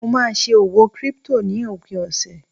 mo ma n se òwò crypto ni opin ọsẹ